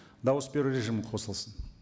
дауыс беру режимі қосылсын